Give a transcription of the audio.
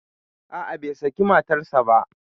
A'a, bai sake matarsa ba.